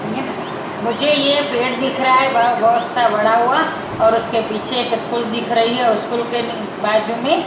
मुझे ये पेड़ दिख रहा है बहुत सा बड़ा हुआ और उसके पीछे एक स्कूल दिख रही है और स्कूल के नी बाजू में--